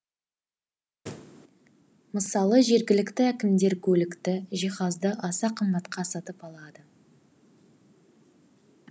мысалы жергілікті әкімдер көлікті жиһазды аса қымбатқа сатып алады